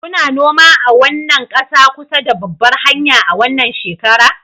Kuna noma a wannan ƙasa kusa da babbar hanya a wannan shekara